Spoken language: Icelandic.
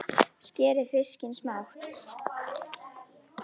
Skerið fiskinn smátt.